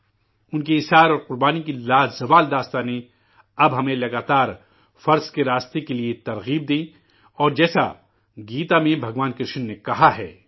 ان کی قربانی کی لازوال داستانیں اب ہمیں مسلسل فرائض کی ادائیگی کے لیے راغب کرے اور جیسے گیتا میں بھگوان کرشن نے کہا ہے